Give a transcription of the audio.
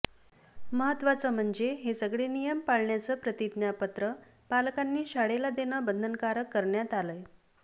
महत्वाचं म्हणजे हे सगळे नियम पाळण्याचं प्रतिज्ञापत्र पालकांनी शाळेला देणं बंधनकारक करण्यात आलय